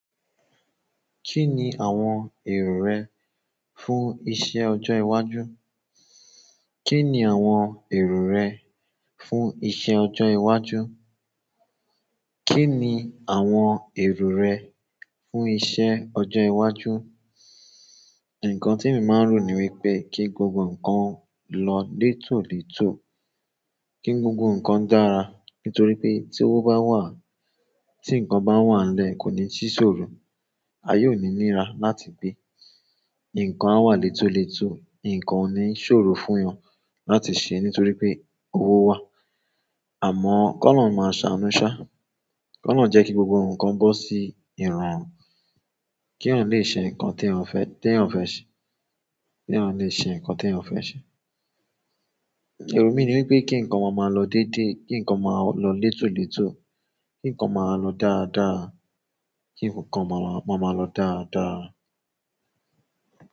Kí ni àwọn èrò rẹ fún iṣẹ́ ọjọ́ iwájú? Kí ni àwọn èrò rẹ fún iṣẹ́ ọjọ́ iwájú? Kí ni àwọn èrò rẹ fún iṣẹ́ ọjọ́ iwájú? Ǹkan tí mo máa ń rò ní wípé kí gbogbo ǹkan lọ létòlètò, kí gbogbo ǹkan dára. Nítorí pé tí owó bá wà, tí ǹkan bá wà lẹ́ẹ̀ kò ní sí sòro, a yóò ní míra láti gbé. Ǹkan á wà létòlètò, ǹkan ò ní sòro fún wọn láti ṣe nítorí pé owó wà. Àmọ́ kọ́ lọhun máa ṣànù ṣá, kọ́ lọhun jẹ́ kí gbogbo ǹkan bọ́ sí ìrorun, kí eyan lè ṣe ǹkan tí eyan fẹ́, tí eyan fẹ́ ṣe. Kí wọ́n lè ṣe ǹkan tí wọ́n fẹ́ ṣe. Ìrò mi ni wípé kí ǹkan máa máa lọ dédé, kí ǹkan máa lọ létòlètò, kí ǹkan máa lọ dáadáa, kí ǹkan máa máa lọ dáadáa.